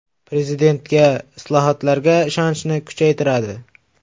Prezidentga, islohotlarga ishonchni kuchaytiradi.